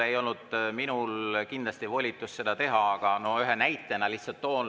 Ei olnud minul kindlasti volitust seda teha, aga ühe näite lihtsalt toon.